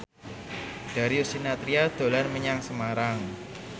Darius Sinathrya dolan menyang Semarang